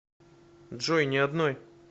джой ни одной